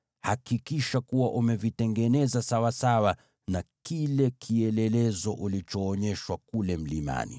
Hakikisha kuwa umevitengeneza sawasawa na ule mfano ulioonyeshwa kule mlimani.